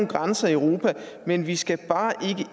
grænser i europa men vi skal bare